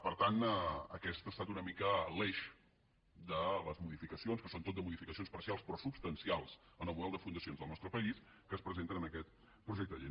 per tant aquest ha estat una mica l’eix de les modificacions que són tot de modificacions parcials però substancials en el model de fundacions del nos·tre país que es presenten en aquest projecte de llei